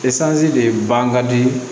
de ban ka di